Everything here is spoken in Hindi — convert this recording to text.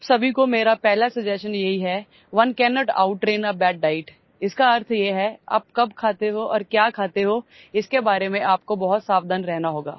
आप सभी को मेरा पहला सजेशन यही है one cannot outtrain a bad diet इसका अर्थ ये है कि आप कब खाते हो और क्या खाते हो इसके बारे में आपको बहुत सावधान रहना होगा